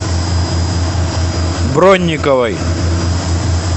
бронниковой